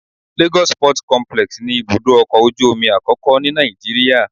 Lagos Port Complex ni ibùdó ọkọ̀ ojú omi àkọ́kọ́ ni Nàìjíríà